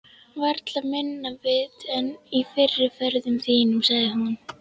Varla minna vit en í fyrri ferðum þínum, sagði hún.